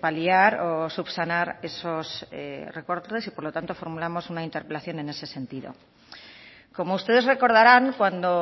paliar o subsanar esos recortes y por lo tanto formulamos una interpelación en ese sentido como ustedes recordarán cuando